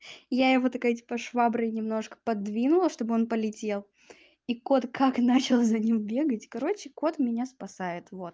я его такая типа шваброй немножко подвинула чтобы он полетел и кот как начал за ним бегать короче кот меня спасает вот